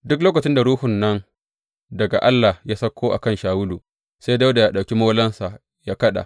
Duk lokacin da ruhun nan daga Allah ya sauko a kan Shawulu, sai Dawuda yă ɗauki molonsa yă kaɗa.